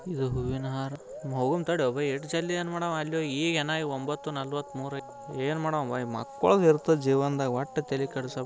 ಇದು ಹೂವಿನ ಹಾರ್ ಹೋಗುಂ ತಡಿಯೊ ಭೈ ಇಷ್ಟ ಜಲ್ದಿ ಅಲ್ಲಿ ಹೋಗಿ ಏನ್ ಮಾಡಾವ ಈಗ್ ಯೇನ ಒಂಬತ್ತು ನಲ್ವತ್ಮೂರ್ಯಾಜಿಯಾದ ಏನ್ಮಾಡಾನ್ಬಾಯ್ ಮಕ್ಕೊಳದ್ ಇರ್ತಾವ ಜೀವನದಾಗ ಒಟ್ಟ ತಲಿ ಕೆಡಿಸ್ಕೊಬ್ಯಾಡ.